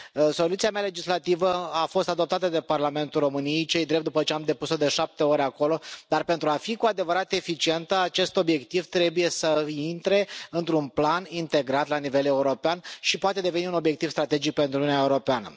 Soluția mea legislativă a fost adoptată de Parlamentul României ce i drept, după ce am depus o de șapte ori acolo dar, pentru a fi cu adevărat eficientă, acest obiectiv trebuie să intre într un plan integrat la nivel european și poate deveni un obiectiv strategic pentru Uniunea Europeană.